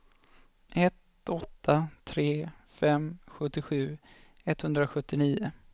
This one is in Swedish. ett åtta tre fem sjuttiosju etthundrasjuttionio